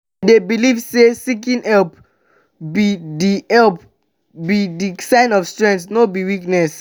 i dey believe say seeking help be di help be di sign of strength not weakness.